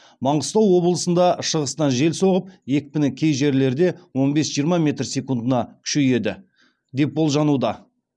маңғыстау облысында шығыстан жел соғып екпіні кей жерлерде он бес жиырма метр секундына күшейеді деп болжануда